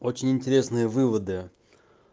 очень интересные выводы